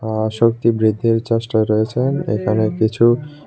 আঃ শক্তি বৃদ্ধির চেষ্টায় রয়েছেন এখানে কিছু--